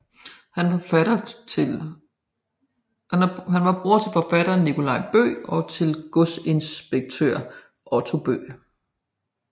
Han var bror til forfatteren Nicolaj Bøgh og til godsinspektør Otto Bøgh